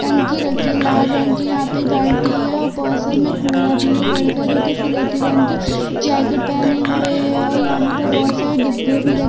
टंकी रखी है लाल रंग कि यहाँ पे बालटी है और पासमे कुडा भी है लाडका जोकी सिलेटी रंग कि जॅकेट पेहने हुए है और यहाँ पे बहोत सारे डिब्बे भी रख--